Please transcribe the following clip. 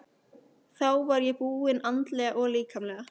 Þá var ég búin andlega og líkamlega.